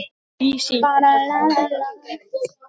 Elsku Bergur Snær.